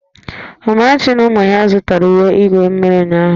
Amarachi na ụmụ ya zụtara uwe igwu mmiri ụnyahụ